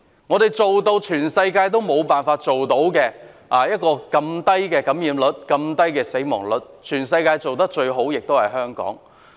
我們做到世界各地均無法做到的事，能維持這麼低的感染率及死亡率，在全世界中做得最好的就是香港。